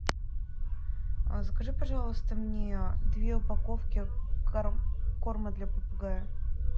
закажи пожалуйста мне две упаковки корма для попугая